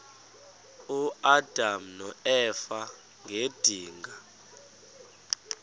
uadam noeva ngedinga